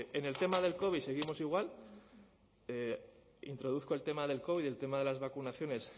en el tema del covid seguimos igual introduzco el tema del covid el tema de las vacunaciones